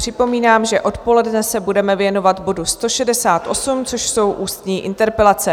Připomínám, že odpoledne se budeme věnovat bodu 168, což jsou ústní interpelace.